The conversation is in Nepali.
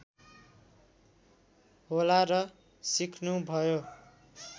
होला र सिक्नु भयो